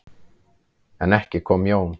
En ekki kom Jón.